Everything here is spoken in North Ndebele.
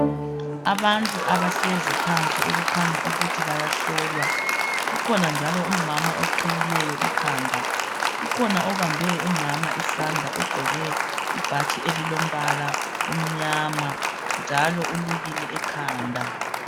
Abantu abahlezi phansi okukhanya ukuthi bayahlolwa, kukhona njalo umama oqhiyileyo ikhanda. Kukhona obambe umama isandla ogqoke ibhatshi elilombala omnyama njalo ulukile ekhanda.